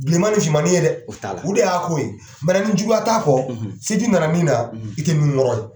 Bilenman ni fimanni ye dɛ, o t'a la. O de y'a ko ye. ni juguya t'a kɔ, siti nana min na, i te nunuŋɔrɔ ye.